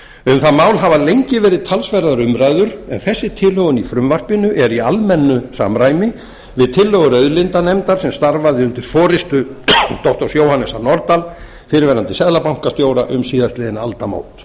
um það mál hafa lengi verið talsverðar umræður en þessi tilhögun í frumvarpinu er í almennu samræmi við tillögur auðlindanefndar sem starfaði undir forustu doktor jóhannesar nordal fyrrverandi seðlabankastjóra um síðastliðin aldamót